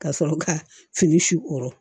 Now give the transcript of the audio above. Ka sɔrɔ ka fini sukɔrɔ